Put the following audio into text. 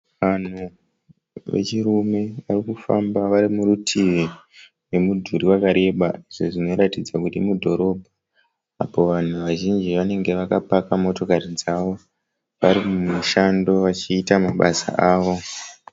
Vanhu vechirume vari kufamba vari murutivi memudhuri wakareba izvo zvinoratidza kuti mudhorobha, apo vanhu vazhinji vanenge vakapaka motokari dzavo vari mumushando vachiita mabasa avo.